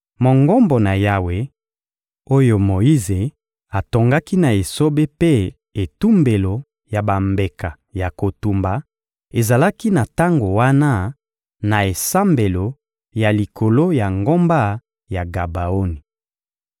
Mongombo na Yawe oyo Moyize atongaki na esobe mpe etumbelo ya bambeka ya kotumba ezalaki na tango wana, na esambelo ya likolo ya ngomba ya Gabaoni.